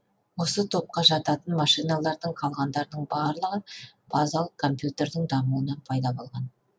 осы топқа жататын машиналардың қалғандарының барлығы базалық компьютердің дамуынан пайда болған